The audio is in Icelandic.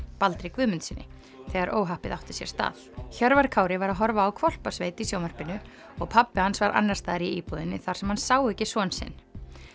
Baldri Guðmundssyni þegar óhappið átti sér stað Hjörvar Kári var að horfa á Hvolpasveit í sjónvarpinu og pabbi hans var annars staðar í íbúðinni þar sem hann sá ekki son sinn